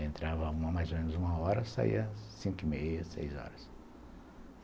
Entrava mais ou menos uma hora, saía cinco e meia, seis horas.